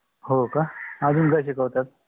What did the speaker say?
होका अजुन काय शिकावतात?